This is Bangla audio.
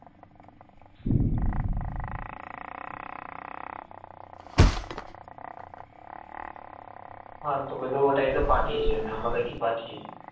হ্যাঁ তোকে তো ওটাই তো পাঠিয়েছি আমি আলাদা কি পাঠিয়েছি ।